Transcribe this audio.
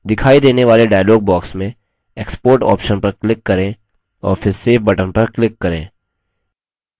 दिखाई देने वाले dialog box में export option पर click करें और फिर save button पर click करें